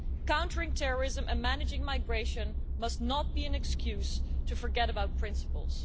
Countering terrorism and managing migration must not be an excuse to forget about principles.